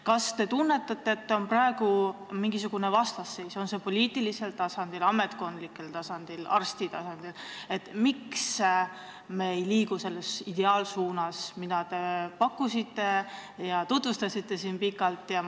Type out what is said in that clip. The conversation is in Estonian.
Kas te tunnetate, et on praegu mingisugune vastasseis kas poliitilisel, ametkondlikul või ka arsti tasandil, et me ei liigu ideaalsuunas, mida te siin pikalt tutvustasite?